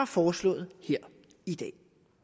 foreslået her i dag